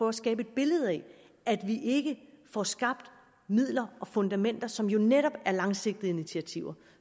at skabe et billede af at vi ikke får skabt midler og fundamenter som jo netop er langsigtede initiativer og